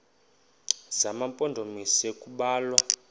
zema mpondomise kubalwa